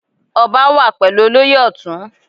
Ọba wà pẹ̀lú olóyè Ọtun.